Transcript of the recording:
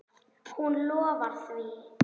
Hún lofar því.